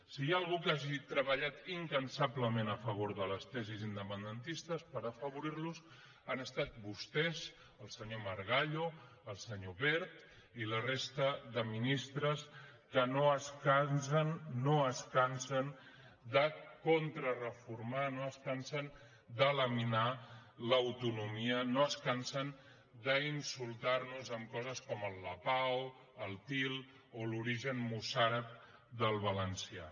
si hi ha algú que hagi treballat incansablement a favor de les tesis independentistes per afavorirles han estat vostès el senyor margallo el senyor wert i la resta de ministres que no es cansen de contrareformar no es cansen de laminar l’autonomia no es cansen d’insultarnos amb coses com el lapao el til o l’origen mossàrab del valencià